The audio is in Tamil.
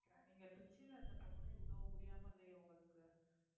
இவ்வளவு முடியாம இல்லையே உங்களுக்கு